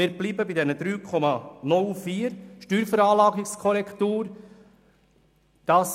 Wir bleiben bei der Steuerveranlagungskorrektur in der Höhe von 3,04.